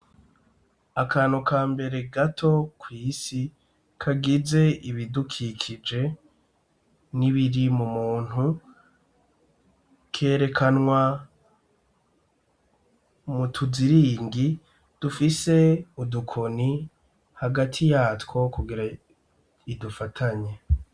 Akantu ka mbere gato kw'isi kagize ibidukikije n'ibiri mu muntu kerekanwa mu tuziringi dufise udukoni hagati yatwo kugira idufatanye.